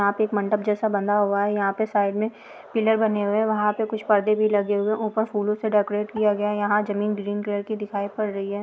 एक मंडप जैसा बना हुआ है यहाँ पे साइड में पिलर बने हुए हैं वहाँ पर कुछ पर्दे भी लगे ऊपर फूलों से डेकोरेट किया गया है यहाँ जमीन ग्रीन कलर की दिखाई पड़ रही है।